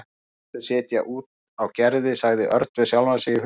Hættu að setja út á Gerði sagði Örn við sjálfan sig í huganum.